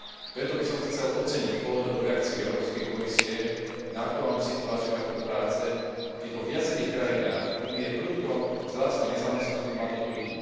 Preto by som chcel oceniť pohotovú reakciu Európskej komisie na aktuálnu situáciu na trhu práce, keď vo viacerých krajinách Únie prudko vzrástla nezamestnanosť mladých ľudí.